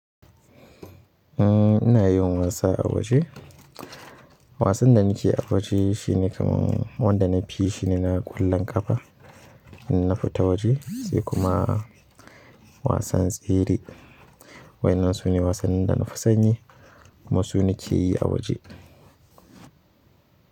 Ina yin wasa a waje. Wasan da nake yi a waje shine kamar wanda na fi shi ne na ƙulla ƙafa in na fita waje, sai kuma wasan tsere. Waƴannan su ne wasannin da na fi son yi kuma su na ke yi a waje.